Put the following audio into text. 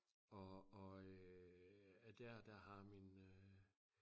og og øh der der har min øh